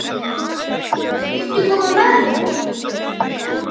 Viltu koma með mér?